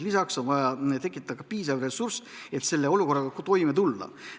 Lisaks on vaja tekitada piisav ressurss, et selle olukorraga toime tulla.